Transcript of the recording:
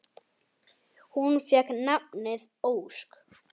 Hún fékk nafnið Ósk.